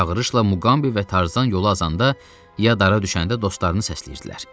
Bu çağırışla Muqambi və Tarzan yolu azanda, ya dara düşəndə dostlarını səsləyirdilər.